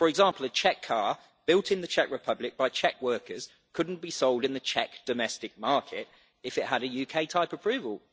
For example, a Czech car, built in the Czech Republic by Czech workers, couldn't be sold in the Czech domestic market if it had a UK type approval.